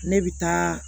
Ne bɛ taa